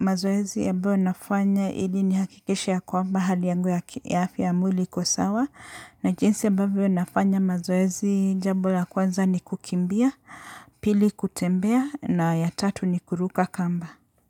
mazoezi ambayo nafanya ili nihakikishe ya kwamba hali yangu ya afya mwili iko sawa, na jinsi ambavyo nafanya mazoezi jambo la kwanza ni kukimbia, pili kutembea na ya tatu ni kuruka kamba.